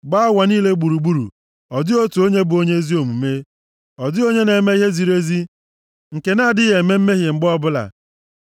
Gbaa ụwa niile gburugburu, ọ dịghị otu onye bụ onye ezi omume, ọ dịghị onye na-eme ihe ziri ezi nke na-adịghị eme mmehie mgbe ọbụla.